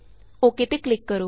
okay ਤੇ click ਕਰੋ